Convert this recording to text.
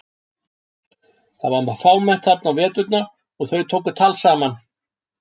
Það var fámennt þar á veturna og þau tóku tal saman.